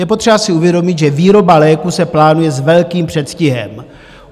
Je potřeba si uvědomit, že výroba léků se plánuje s velkým předstihem.